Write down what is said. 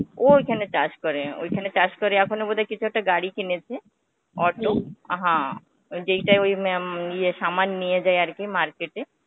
ও ঐখানে চাষ করে, ঐখানে চাষ করে এখন বোধহয় কিছু একটা গাড়ী কিনেছে auto হ্যাঁ, যেইটা ওই ম্যাম এই Hindi নিয়ে যায় আরকি market এ.